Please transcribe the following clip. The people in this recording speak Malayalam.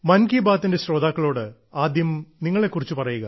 ശ്രീ പ്രകാശ് മൻ കി ബാത്തിന്റെ ശ്രോതാക്കളോട് ആദ്യം നിങ്ങളെക്കുറിച്ച് പറയുക